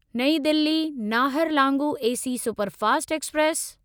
नईं Delhi Naharlagun AC superfast express